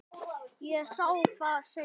Ég sá það seinna.